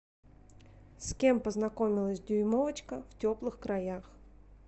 с кем познакомилась дюймовочка в теплых краях